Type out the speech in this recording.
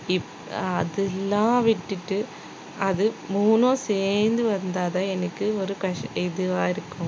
இப்~ அதெல்லாம் விட்டுட்டு அது மூணும் சேர்ந்து வந்தா தான் எனக்கு ஒரு கச~ இதுவா இருக்கும்